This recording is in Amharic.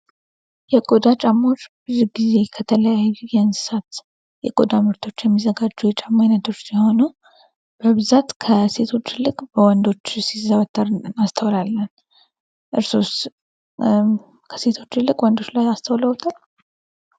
የቆዳ ጫማዎች ብዙ ጊዜ ከተለያዩ የእንስሳት የቆዳ ምርቶች የሚዘጋጁ የጫማ ዓይነቶች ሲሆኑ በብዛት ከሴቶች ይልቅ በወንዶች ሲዘወተር እናስተውላለን ። እርስዎስ ከሴቶች ይልቅ በወንዶች ላይ አስተውለውታል ?